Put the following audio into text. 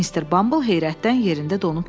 Mister Bumble heyrətdən yerində donub qaldı.